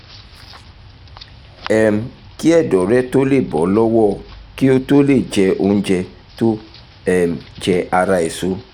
um kí ẹ̀dọ̀ rẹ tó lè bọ́ lọ́wọ́ kí o tó jẹ́ oúnjẹ tó um jẹ ara èso